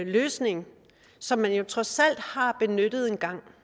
løsning som man jo trods alt har benyttet en gang